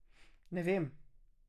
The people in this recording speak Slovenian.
Ne vem.